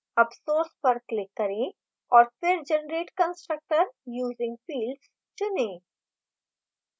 अब source पर click करें और फिर generate constructor using fields चुनें